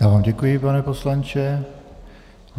Já vám děkuji, pane poslanče.